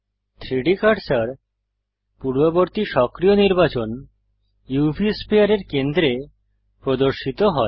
3ডি কার্সার পূর্ববর্তী সক্রিয় নির্বাচন উভ স্ফিয়ার এর কেন্দ্রে প্রদর্শিত হয়